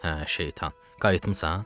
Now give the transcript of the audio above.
Hə, şeytan, qayıtmısan?